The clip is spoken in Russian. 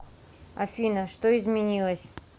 афина что изменилось